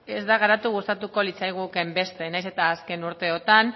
ez da garatu gustatuko litzaigukeen beste nahiz eta azken urteetan